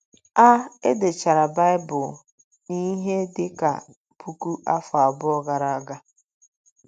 A E dechara Baịbụl n’ihe dị ka puku afọ abụọ gara aga.